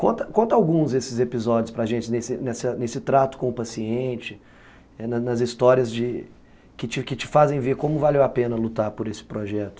Conta conta alguns desses episódios para gente, nesse nessa nesse trato com o paciente, nas histórias que que te fazem ver como valeu a pena lutar por esse projeto.